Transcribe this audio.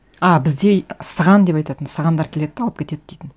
а бізде сыған деп айтатын сығандар келеді де алып кетеді дейтін